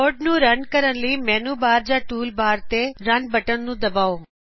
code ਨੂੰ run ਕਰਨ ਲਈ ਮੈਨੂ ਬਾਰ ਜਾ ਟੂਲ ਬਾਰ ਤੋਂ ਰਨ ਬਟਨ ਨੂੰ ਦਬਾਓ